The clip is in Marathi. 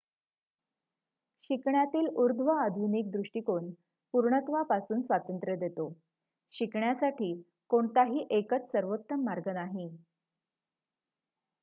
शिकण्यातील ऊर्ध्वआधुनिक दृष्टीकोण पुर्णत्वापासून स्वातंत्र्य देतो शिकण्यासाठी कोणताही एकच सर्वोत्तम मार्ग नाही